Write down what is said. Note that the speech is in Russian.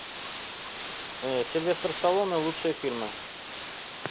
сильвестр сталлоне лучшие фильмы